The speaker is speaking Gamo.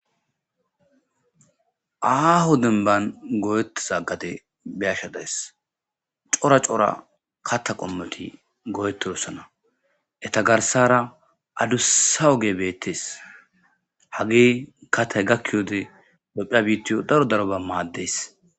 aaho denban go7etiza gade be7ashe days cora cora katta qommoti go7etossana eta garsara adussa oge beettees hage kattay gakkiyode opphia biittiyo daro daroba maaddees